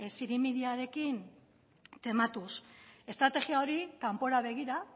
zirimiriarekin tematuz estrategia hori kanpora begira